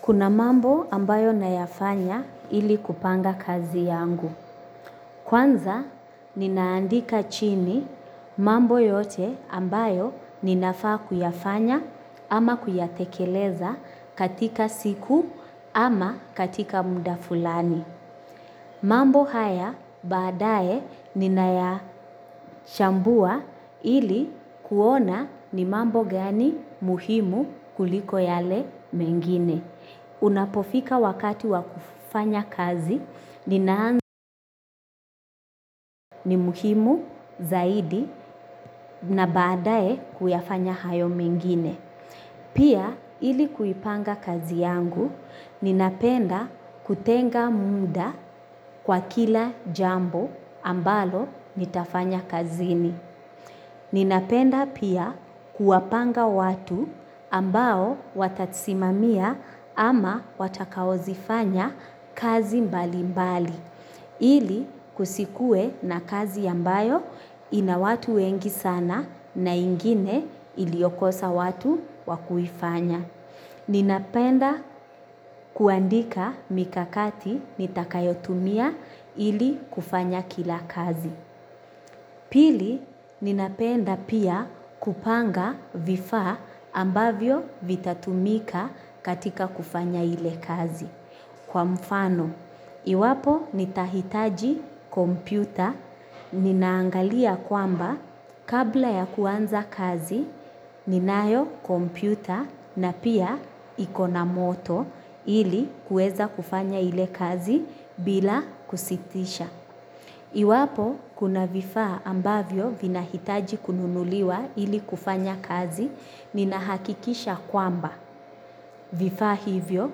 Kuna mambo ambayo nayafanya ili kupanga kazi yangu. Kwanza ninaandika chini mambo yote ambayo ninafaa kuyafanya ama kuyatekeleza katika siku ama katika mda fulani. Mambo haya baadaye ninayachambua ili kuona ni mambo gani muhimu kuliko yale mengine. Unapofika wakati wa kufanya kazi ninaangu ni muhimu zaidi na badae kuyafanya hayo mengine. Pia ilikuipanga kazi yangu ninapenda kutenga muda kwa kila jambo ambalo nitafanya kazini. Ninapenda pia kuwapanga watu ambao watatisimamia ama watakaozifanya kazi mbali mbali ili kusikue na kazi ambayo inawatu wengi sana na ingine iliokosa watu wakuifanya. Ninapenda kuandika mikakati nitakayotumia ili kufanya kila kazi. Pili, ninapenda pia kupanga vifaa ambavyo vitatumika katika kufanya ile kazi. Kwa mfano, iwapo nitahitaji kompyuta, ninaangalia kwamba kabla ya kuanza kazi, ninayo kompyuta na pia iko na moto ili kueza kufanya ile kazi bila kusitisha. Iwapo kuna vifaa ambavyo vina hitaji kununuliwa ili kufanya kazi nina hakikisha kwamba vifaa hivyo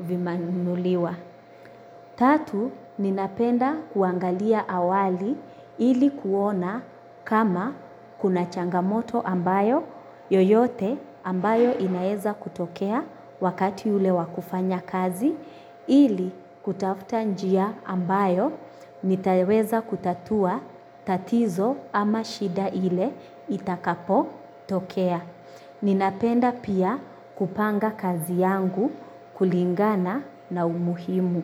vimanunuliwa. Tatu, ninapenda kuangalia awali ili kuona kama kuna changamoto ambayo yoyote ambayo inaeza kutokea wakati ule wa kufanya kazi ili kutafuta njia ambayo nitaweza kutatua tatizo ama shida ile itakapo tokea. Ninapenda pia kupanga kazi yangu kulingana na umuhimu.